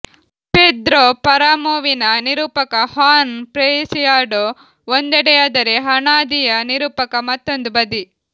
Pedro ಪರಾಮೊವಿನ ನಿರೂಪಕ Juan Preciado ಒಂದೆಡೆಯಾದರೆ ಹಾಣಾದಿಯ ನಿರೂಪಕ ಮತ್ತೊಂದು ಬದಿ